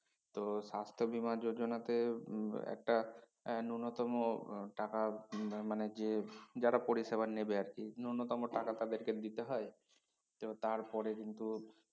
তো স্বাস্থ্য বীমা যোজনাতে হম একটা এ নূন্যতম আহ টাকার ম~মানে যে যারা পরিসেবা নেবে আরকি নূন্যতম টাকা তাদের কে দিতে হয় তো তার পরে কিন্তু